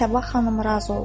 Buna Sabah xanım razı oldu.